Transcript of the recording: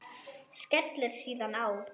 Skellir síðan á.